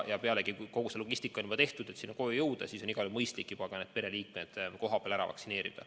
Kogu see logistika on juba tehtud, et kodudesse jõuda, ja on igati mõistlik juba ka need pereliikmed kohapeal ära vaktsineerida.